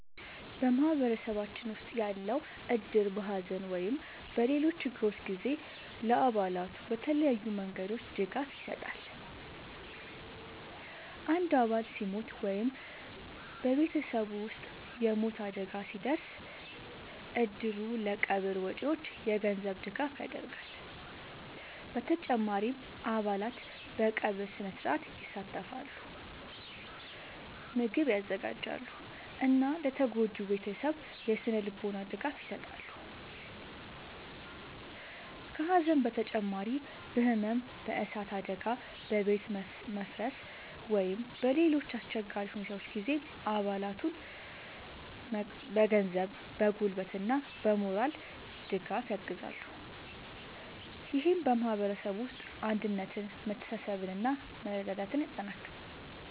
በማህበረሰባችን ውስጥ ያለው እድር በሐዘን ወይም በሌሎች ችግሮች ጊዜ ለአባላቱ በተለያዩ መንገዶች ድጋፍ ይሰጣል። አንድ አባል ሲሞት ወይም በቤተሰቡ ውስጥ የሞት አደጋ ሲደርስ፣ እድሩ ለቀብር ወጪዎች የገንዘብ ድጋፍ ያደርጋል። በተጨማሪም አባላት በቀብር ሥነ-ሥርዓት ይሳተፋሉ፣ ምግብ ያዘጋጃሉ እና ለተጎጂው ቤተሰብ የሥነ-ልቦና ድጋፍ ይሰጣሉ። ከሐዘን በተጨማሪ በሕመም፣ በእሳት አደጋ፣ በቤት መፍረስ ወይም በሌሎች አስቸጋሪ ሁኔታዎች ጊዜም አባላቱን በገንዘብ፣ በጉልበት እና በሞራል ድጋፍ ያግዛል። ይህም በማህበረሰቡ ውስጥ አንድነትን፣ መተሳሰብን እና መረዳዳትን ያጠናክራል።